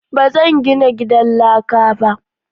Ba zan gina gidan laka ba.